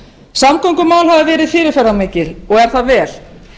samgöngumál hafa verið fyrirferðarmikil og er það vel